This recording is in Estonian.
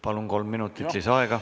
Palun!